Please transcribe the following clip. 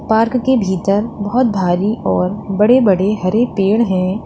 Park के भीतर बहुत भारी और बड़े बड़े हरे पेड़ हैं।